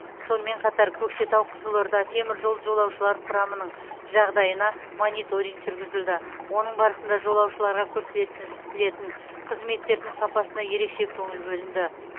сонымен қатар көкшетау қызылорда теміржол жолаушылар құрамының жағдайына мониторинг жүргізілді оның барысында жолаушыларға көрсетілетін қызметтердің сапасына ерекше көңіл бөлінді